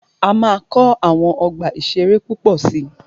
A máa kọ́ àwọn ọgbà ìṣẹ̀rẹ́ púpọ̀ si.